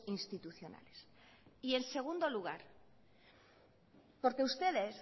institucionales en segundo lugar porque ustedes